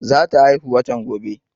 Za ta haihuw watan gobe